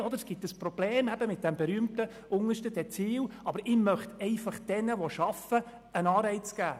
Es gäbe ein Problem mit dem berühmten untersten Dezil, aber er möchte den Arbeitenden einen Anreiz geben.